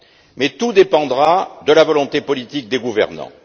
Mais tout dépendra de la volonté politique des gouvernants.